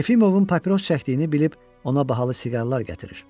Yefimovun papiros çəkdiyini bilib ona bahalı siqarlar gətirir.